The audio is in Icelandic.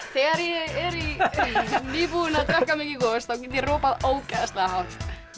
þegar ég er nýbúin að drekka mikið gos þá get ég ropað ógeðslega hátt